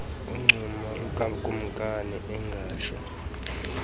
uncumo lukakumkani engatsho